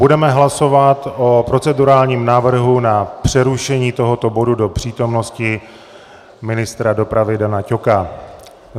Budeme hlasovat o procedurálním návrhu na přerušení tohoto bodu do přítomnosti ministra dopravy Dana Ťoka.